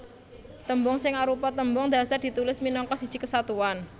Tembung sing arupa tembung dhasar ditulis minangka siji kesatuan